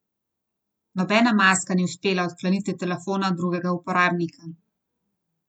Nobena maska ni uspela odkleniti telefona drugega uporabnika.